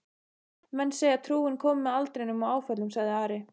Menn segja trúin komi með aldrinum og áföllunum, sagði Ari.